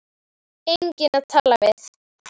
Enginn að tala við.